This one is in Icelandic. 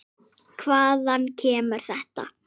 Hvaðan kemur þetta?